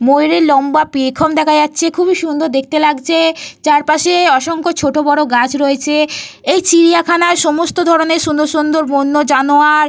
ময়ূরের লম্বা পেখম দেখা যাচ্ছে। খুবই সুন্দর দেখতে লাগছে। চারপাশে অসংখ্য ছোট বড় গাছ রয়েছে। এই চিড়িয়াখানায় সমস্ত ধরণের সুন্দর সুন্দর বন্য জানোয়ার।